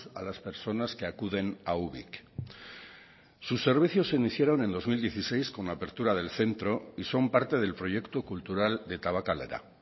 a las personas que acuden a ubik sus servicios se iniciaron en dos mil dieciséis con la apertura del centro y son parte del proyecto cultural de tabakalera